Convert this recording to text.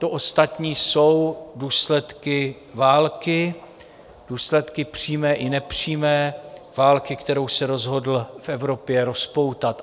To ostatní jsou důsledky války, důsledky přímé i nepřímé, války, kterou se rozhodl v Evropě rozpoutat.